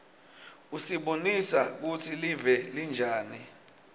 usibonisa kutsi live linjani